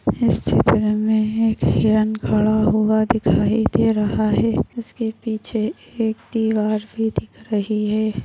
इस चित्र मे एक हिरण खड़ा हुआ दिखाई दे रहा है। इसके पीछे एक दीवार भी दिख रही है।